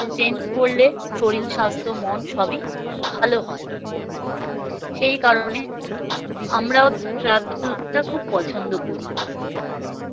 শরীর স্বাস্থ্য মন সবই ভালো হয়। সেই কারণে আমরাও travel টা খুব পছন্দ করি।